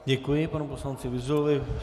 Děkuji panu poslanci Vyzulovi.